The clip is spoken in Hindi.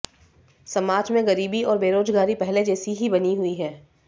समाज में गरीबी और बेरोजगारी पहले जैसी ही बनी हुई है